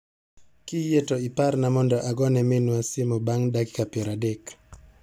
Kiyie to iparna mondo agone minwa simo bang' dakika piero adek.